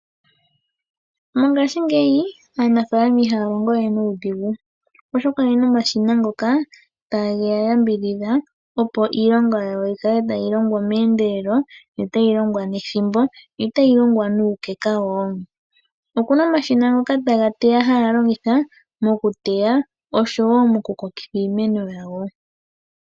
Mongaashingeyi aanafaalama ihaya longo we nuudhigu oshoka oye na omashina ngoka tage ya yambidhidha opo iilonga yawo yi kale tayi longo meendelelo, yo tayi longwa nethimbo, yo tayi longwa nuukeka wo. Okuna omashina ngoka haya longitha mokuteya oshowo mokukokitha iimeno yawo.